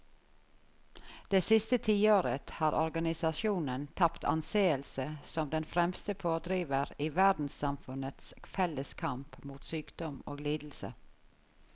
Det siste tiåret har organisasjonen tapt anseelse som den fremste pådriver i verdenssamfunnets felles kamp mot sykdom og lidelse.